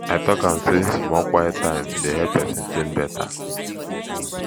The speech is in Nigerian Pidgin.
i tok am sey small quiet time dey help pesin tink better